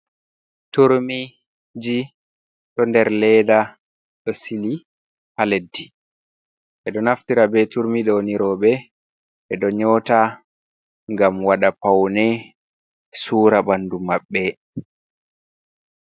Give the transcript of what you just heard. Turmiji ɗo nder leda ɗo sigi haa leddi. Ɓe ɗo naftira be turmi ɗo nii rowɓe ɓe ɗo nyota ngam waɗa paune sura bandu maɓɓe.